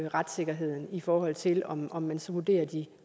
retssikkerheden i forhold til om om man så vurderer de